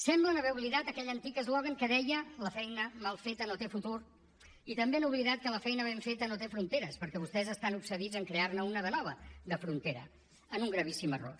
semblen haver oblidat aquell antic eslògan que deia la feina mal feta no té futur i també han oblidat que la feina ben feta no té fronteres perquè vostès estan obsedits en crear ne una de nova de frontera en un gravíssim error